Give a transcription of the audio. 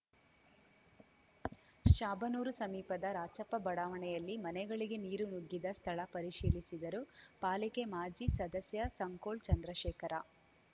ಶಾಬನೂರು ಸಮೀಪದ ರಾಚಪ್ಪ ಬಡಾವಣೆಯಲ್ಲಿ ಮನೆಗಳಿಗೆ ನೀರು ನುಗ್ಗಿದ್ದ ಸ್ಥಳ ಪರಿಶೀಲಿಸಿದರು ಪಾಲಿಕೆ ಮಾಜಿ ಸದಸ್ಯ ಸಂಕೋಳ್‌ ಚಂದ್ರಶೇಖರ